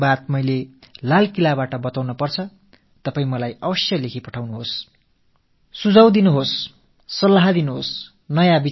கண்டிப்பாக உங்கள் ஆலோசனைகளை எனக்கு எழுதி அனுப்புங்கள் புதிய கருத்துக்களைத் தெரிவியுங்கள்